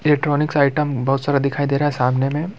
Electronics item बहुत सारा दिखाई दे रहा है सामने में।